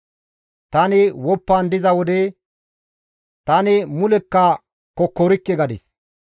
Tani woppan diza wode, «Tani mulekka kokkorikke» gadis.